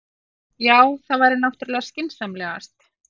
Já, það væri náttúrlega skynsamlegast.